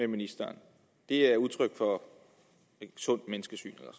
ministeren det er udtryk for et sundt menneskesyn eller